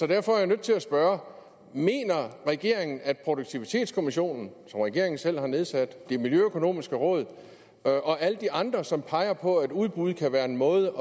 derfor er jeg nødt til at spørge mener regeringen at produktivitetskommissionen som regeringen selv har nedsat det miljøøkonomiske råd og og alle de andre som peger på at udbud kan være en måde